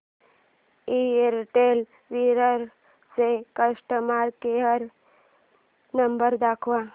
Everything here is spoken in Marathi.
एअरटेल विरार चा कस्टमर केअर नंबर दाखव